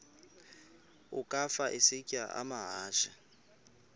ukafa isitya amahashe